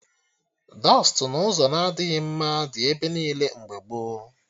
Dọstụ n'ụzọ na-adịghị mma dị ebe niile mgbe gboo